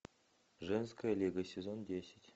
женская лига сезон десять